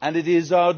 It is our